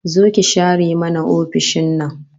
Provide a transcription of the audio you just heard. Zo ki share mana ofishin nan